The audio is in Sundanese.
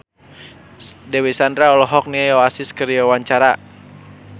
Dewi Sandra olohok ningali Oasis keur diwawancara